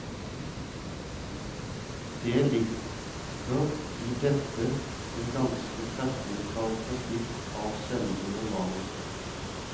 Det ligg er i dette en ganske treffende karakteristikk av selve romanen.